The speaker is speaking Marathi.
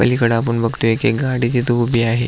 पलिकड आपण बगतोय एक एक गाडी तिथ उभी आहे.